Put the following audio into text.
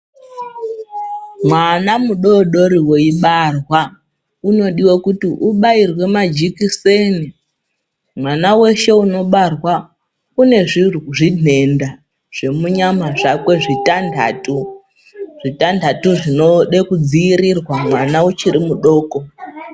Mwana mudoodori weibarwa unodiwe kuti ubairwe majikiseni mwana weshe unobarwa unezvinhenda zvemunyama zvakwe zvitandatu zvitandatu zvinode kudzivirirwa mwana uchiri mudoko.